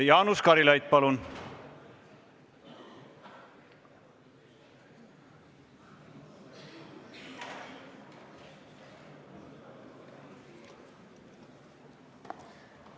Jaanus Karilaid, palun!